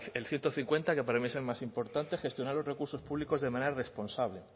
el ciento cincuenta que para mí es el más importante gestionar los recursos públicos de manera responsable